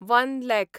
one lakh